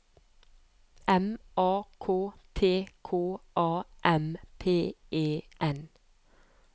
M A K T K A M P E N